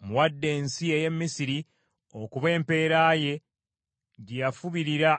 Mmuwadde ensi ey’e Misiri okuba empeera ye gye yafubirira